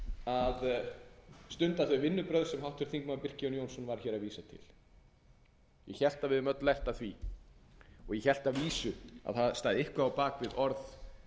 að stunda þau vinnubrögð sem háttvirtur þingmaður birkir jón jónsson var að vísa til ég hélt að við hefðum öll lært af því og ég hélt að vísu að það stæði eitthvað á bak við orð